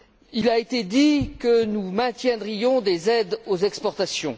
Il a été dit que nous maintiendrions des aides aux exportations.